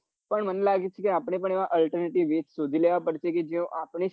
પન મને લાગે છે આપડે પન alternetive યુજ સોઘી લેવા પડશે કે જેવો આપડે